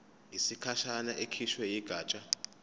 yesikhashana ekhishwe yigatsha